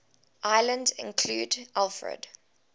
islands included alfred